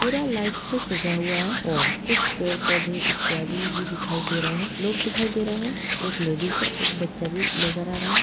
पूरा लाइट से सजा हुआ है और कुछ पेड़ पौधे इत्यादि भी दिखाई दे रहे हैं | लोग दिखाई दे रहे हैं एक लेडिज है एक बच्चा भी नजर आ रहा है।